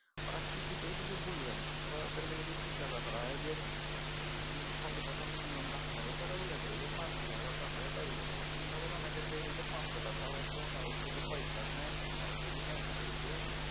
ওরা কিছুতেই কিছু বলবে না। ওরা ওদেরকে যদি জিজ্ঞাসা করা হয় যে কত টাকা minimum রাখতে হবে ওরা বলে দেবে যে পাঁচ হাজার বা দশ হাজার টাই বলে দেবে কিন্তু পরে অনেকের দেখি পাঁচশো টাকাও আছে কাওর দেখি পইসাই নাই কারো দেখি ব্যাঙ্ক চলছে